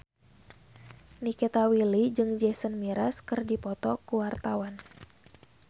Nikita Willy jeung Jason Mraz keur dipoto ku wartawan